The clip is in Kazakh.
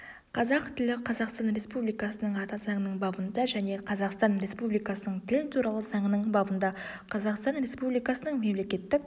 қазақ тілі қазақстан республикасының ата заңының бабында және қазақстан республикасының тіл туралы заңының бабында қазақстан республикасының мемлекеттік